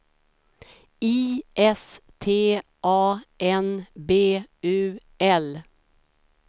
I S T A N B U L